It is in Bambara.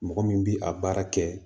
Mɔgɔ min bi a baara kɛ